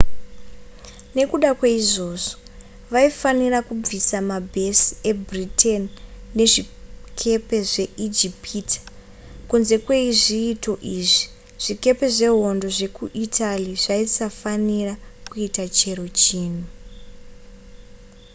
nekuda kwaizvozvo vaifanira kubvisa mabhesi ebritain nezvikepe zvemuijipita kunze kwezviito izvi zvikepe zvehondo zvekuitaly zvaisafanira kuita chero chinhu